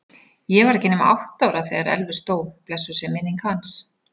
Ég var ekki nema átta ára þegar Elvis dó, blessuð sé minning hans.